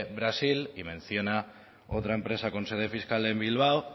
brasil y menciona otra empresa con sede fiscal en bilbao o